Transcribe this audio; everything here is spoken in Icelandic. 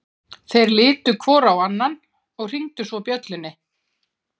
Þeir litu hvor á annan og hringdu svo bjöllunni.